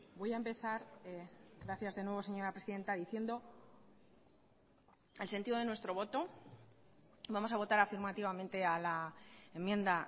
voy a empezar gracias de nuevo señora presidenta diciendo el sentido de nuestro voto vamos a votar afirmativamente a la enmienda